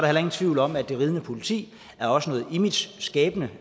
heller ingen tvivl om at det ridende politi også er imageskabende